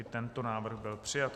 I tento návrh byl přijat.